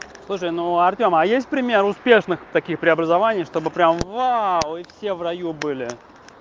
слушай но у артёма есть пример успешных таких преобразований чтобы прямо вау и все в раю были